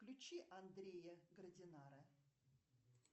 включи андрея градинара